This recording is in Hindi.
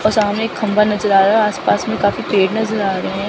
और सामने एक खंभा नजर आ रहा है और आसपास मे काफी पेड़ नजर आ रहे हैं।